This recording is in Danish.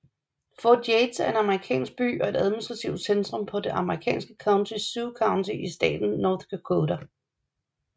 Fort Yates er en amerikansk by og administrativt centrum for det amerikanske county Sioux County i staten North Dakota